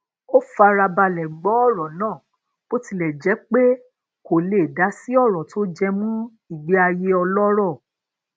ó fara balè gbó oro naa bó tilè jé pé kò le dasi oro to jemọ igbé ayé ọlọrọ